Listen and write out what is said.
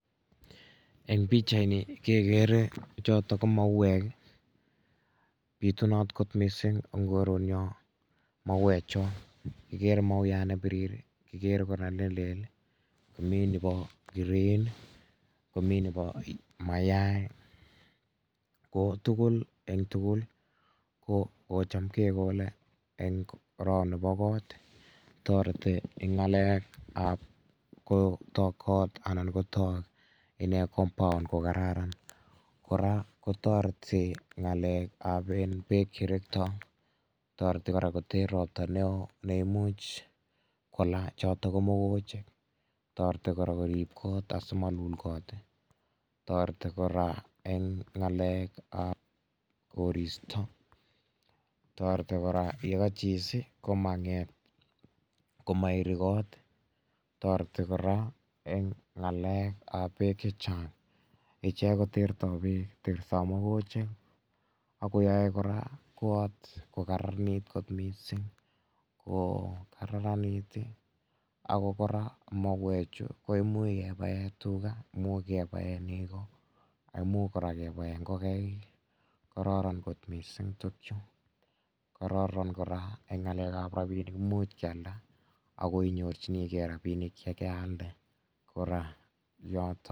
Eng pichait nii kekere chotok ko mauwek ii, pitunat kot mising eng koret nyon mauwek chuu, ikere mauwat ne birir ii, mauwat nelel ii, mi nebo green, ami nebo mayang ko tugul eng tugul ko cham ke kole enn orot nibo kot, toreti eng ngalekab kotok kot, anan kotok compound kokararan, kora ko toreti ngalekab eng bek che rektoi, toreti kora koter robta neon, ne imuch kola chotok ko mokochik, toreti kora ko rib kot asi malul kot, toreti kora eng ngalekab koristo, toreti kora ye kachis koma nget, koma iri kot, toreti kora eng ngalekab bek chechang, ichek ko tertoi bek, tertoi mokochik, ako yoe kora kot ko kararanit kot mising, ako kora mauwek chu ko imuch kebaen tuga, imuch kebaen neko, ako imuch kebaen kora ingokaik, karoron kora eng ngalekab rabinik, imuch kyalda, ako imuch inyoru rabinik che keyalde.